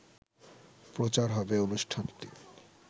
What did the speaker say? প্রচার হবে অনুষ্ঠানটি